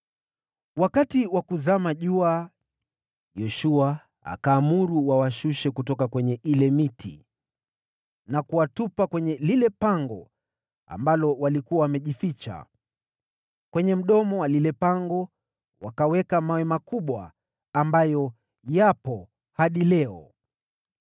Wakati wa kuzama jua Yoshua akaamuru, nao wakawashusha kutoka kwenye ile miti na kuwatupa kwenye lile pango ambalo walikuwa wamejificha. Kwenye mdomo wa lile pango wakaweka mawe makubwa, ambayo yapo hadi leo.